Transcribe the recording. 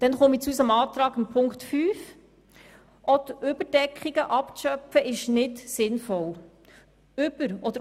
Nun zu unserem Antrag Ziffer 5: Es ist nicht sinnvoll, die Überdeckungen abzuschöpfen.